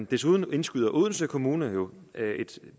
desuden indskyder odense kommune jo